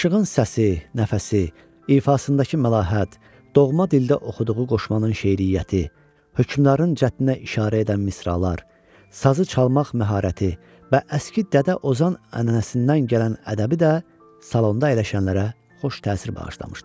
Aşığın səsi, nəfəsi, ifasındakı məlahət, doğma dildə oxuduğu qoşmanın şeiriyyəti, hökmdarın cəddinə işarə edən misralar, sazı çalmaq məharəti və əski Dədə Ozan ənənəsindən gələn ədəbi də salonda əyləşənlərə xoş təsir bağışlamışdı.